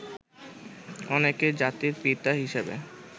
অনেকেই জাতির পিতা হিসেবে